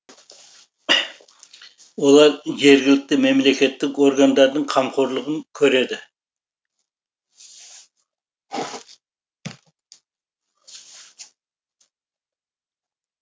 олар жергілікті мемлекеттік органдардың қамқорлығын көреді